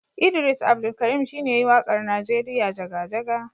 Idris Abdulkarim shi ne ya yi waƙar Najeriya jaga-jaga.